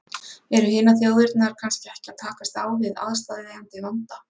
Eru hinar þjóðirnar kannski ekki að takast á við aðsteðjandi vanda?